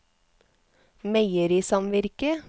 meierisamvirket